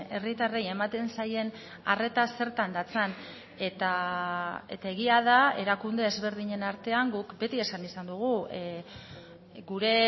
herritarrei ematen zaien arreta zertan datzan eta egia da erakunde ezberdinen artean guk beti esan izan dugu gure